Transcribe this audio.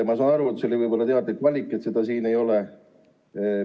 Ma saan aru, et see oli võib-olla teadlik valik, et seda siin ei ole.